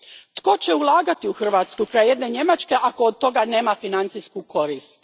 Tko će ulagati u Hrvatsku kraj jedne Njemačke ako od toga nema financijsku korist?